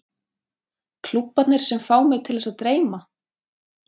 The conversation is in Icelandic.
Klúbbarnir sem fá mig til þess að dreyma?